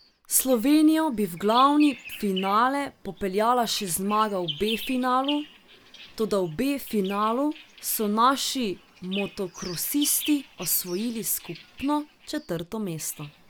Slovenijo bi v glavni finale popeljala še zmaga v B finalu, toda v B finalu so naši motokrosisti osvojili skupno četrto mesto.